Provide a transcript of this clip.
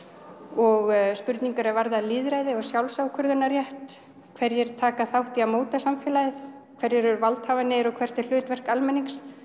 og spurningar sem varða lýðræði og sjálfsákvörðunarrétt hverjir taka þátt í að móta samfélagið hverjir eru valdhafarnir og hvert er hlutverk almennings